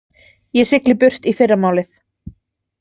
Ég sigli burt í fyrramálið.